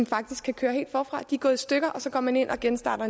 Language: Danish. faktisk køre helt forfra de er gået i stykker og så går man ind og genstarter